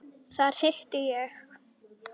Þar hitti ég